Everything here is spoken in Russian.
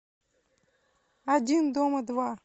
один дома два